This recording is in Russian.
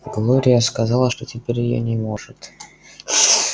глория сказала что теперь её не может